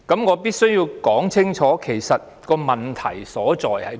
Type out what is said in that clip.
我必須清楚指出問題所在。